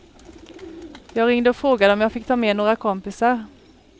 Jag ringde och frågade om jag fick ta med några kompisar.